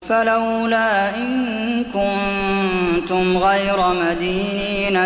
فَلَوْلَا إِن كُنتُمْ غَيْرَ مَدِينِينَ